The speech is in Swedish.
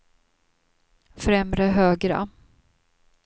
främre högra